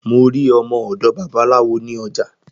Mo rí ọmọ òdò babaláwo ní ojà